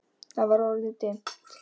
Það var orðið dimmt.